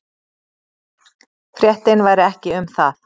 Fréttin væri ekki um það.